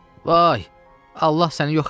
Vay, Allah səni yox eləsin!